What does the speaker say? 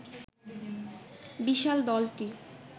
বিশাল দলটি